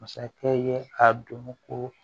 Masakɛ ye ka dɔn ko